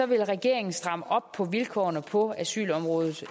vil regeringen stramme yderligere op på vilkårene på asylområdet